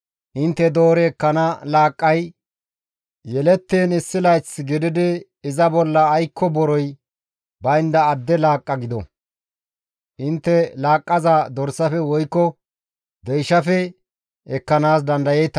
Intte doori ekkana laaqqay yelettiin issi layth gididi iza bolla aykko borey baynda adde laaqqa gido. Intte laaqqaza dorsafe woykko deyshafe ekkanaas dandayeeta.